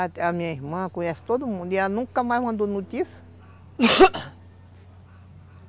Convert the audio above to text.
A minha irmã conhece todo mundo, e ela nunca mais mandou notícia